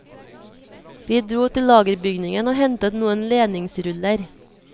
Vi dro til lagerbygningen og hentet noen ledningsruller.